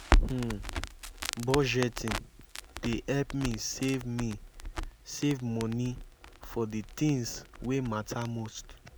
um budgeting dey help me save me save money for the things wey matter most.